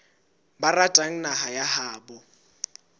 ba ratang naha ya habo